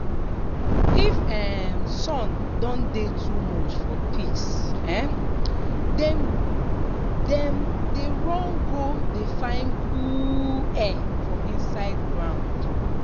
if um sun don dey too much pigs um them dem dey run go dey find cool um air for inside ground.